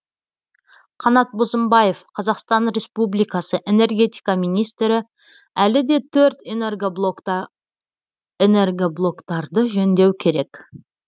қанат бозымбаев қазақстан республикасы энергетика министрі әлі де төрт энергоблоктарды жөндеу керек